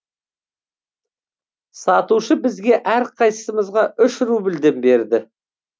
сатушы бізге әрқайсымызға үш рубльден берді